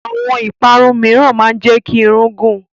Àwọn ìparun mìíràn máa ń jẹ́ kí irun gùn.